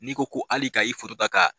N'i ko hali ka i ka